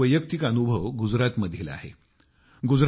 असाच एक वैयक्तिक अनुभव माझा गुजरातमधील आहे